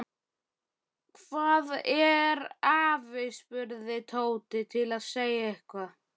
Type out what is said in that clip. Hvar er afi? spurði Tóti til að segja eitthvað.